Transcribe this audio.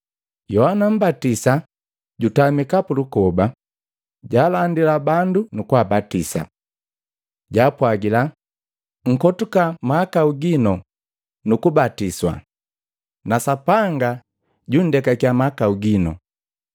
Yohana Mmbatisa jutamika pulukoba, jalandila bandu na kabatisa. Jaapwagila, “Nkotuka mahakau gino nu kubatiswa na Sapanga janndekakya mahakau gino.”